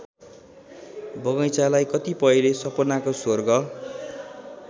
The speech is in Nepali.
बगैंचालाई कतिपयले सपनाको स्वर्ग